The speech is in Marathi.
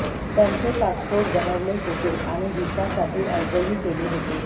त्यांचे पासपोर्ट बनवले होते आणि व्हिसासाठी अर्जही केले होते